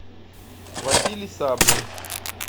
василий саблин